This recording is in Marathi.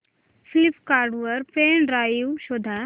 फ्लिपकार्ट वर पेन ड्राइव शोधा